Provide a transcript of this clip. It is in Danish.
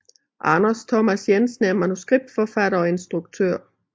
Anders Thomas Jensen er manuskriptforfatter og instruktør